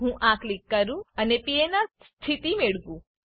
હું આ ક્લિક કરું અને પીએનઆર સ્થિતિ મેળવું